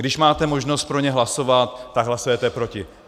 Když máte možnost pro ně hlasovat, tak hlasujete proti.